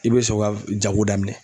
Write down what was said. I bɛ sɔn ka jago daminɛn.